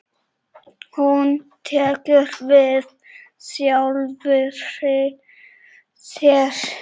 Hún tekur við sjálfri sér.